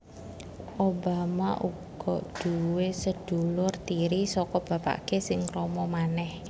Obama uga duwé sedulur tiri saka bapaké sing krama manèh